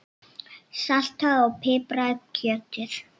Saltaðu og pipraðu kjötið.